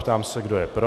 Ptám se, kdo je pro.